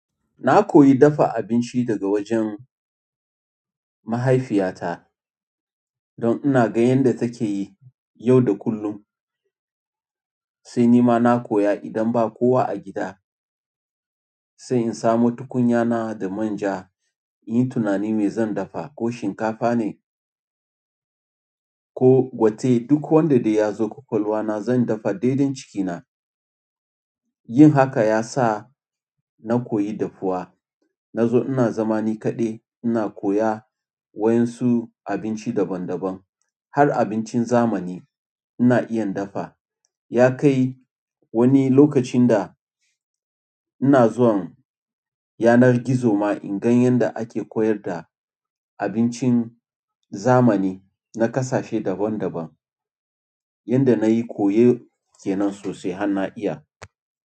Na koyi dafa abinci daga wajen mahaifiyata don ina ga yanda take yi yau da kullum. Sai ni ma na koya idan ba kowa a gida, sai in samo tukunya na da manja, in yi tunani me zan dafa, ko shinkafa ne ko gwate. Duk wanda dai ya zo ƙwaƙwalwa na zan dafa daidan cikina. Yin haka ya sa na koyi dafuwa. Nazo ina zama ni kaɗai ina koya wa ƴan su abinci daban-daban. Har abincin zamani ina iya dafa. Ya kai wani lokacin da ina zuwan yanar gizo ma in gan yanda ake koyar da abincin zamani na ƙasashe daban-daban yanda na yi koyo kenan sosai har na iya.